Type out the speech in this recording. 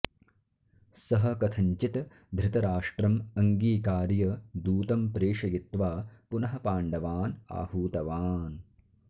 सः कथञ्चित् धृतराष्ट्रम् अङ्गीकार्य दूतं प्रेषयित्वा पुनः पाण्डवान् आहूतवान्